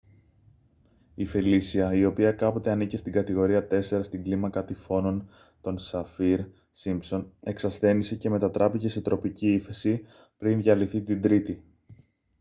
η φελίσια η οποία κάποτε ανήκε στην κατηγορία 4 στην κλίμακα τυφώνων των σαφίρ-σίμπσον εξασθένισε και μετατράπηκε σε τροπική ύφεση πριν διαλυθεί την τρίτη